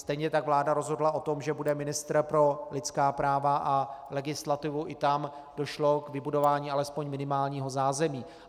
Stejně tak vláda rozhodla o tom, že bude ministr pro lidská práva a legislativu - i tam došlo k vybudování alespoň minimálního zázemí.